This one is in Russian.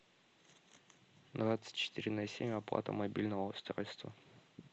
двадцать четыре на семь оплата мобильного устройства